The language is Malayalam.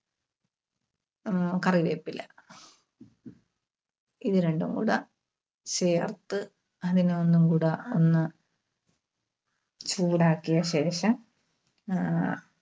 അഹ് കറിവേപ്പില ഇതുരണ്ടും കൂടെ ചേർത്ത് അതിനെ ഒന്നുകൂടെ ഒന്ന് ചൂടാക്കിയ ശേഷം ആഹ്